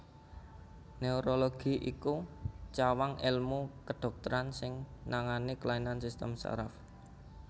Neurologi iku cawang èlmu kedhokteran sing nangani kelainan sistem saraf